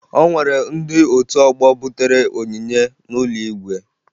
O nwere ndị otu ọgbọ butere onyinye n'ụlọ igwe